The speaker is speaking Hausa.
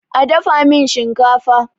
a dafa min shinkafa!